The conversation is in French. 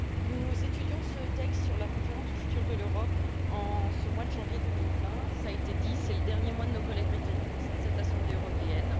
Madame la Présidente, nous étudions ce texte sur la conférence sur l'avenir de l'Europe. En ce mois de janvier 2020, cela a été dit, c'est le dernier mois de nos collègues britanniques au sein de cette assemblée européenne.